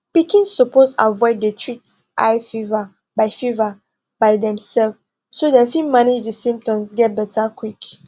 pikin suppose avoid to dey treat high fever by fever by demself so dem fit manage di symptoms get beta quick